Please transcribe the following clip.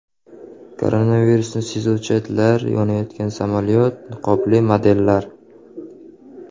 Koronavirusni sezuvchi itlar, yonayotgan samolyot, niqobli modellar.